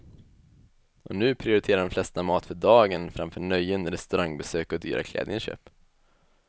Och nu prioriterar de flesta mat för dagen framför nöjen, restaurangbesök och dyra klädinköp.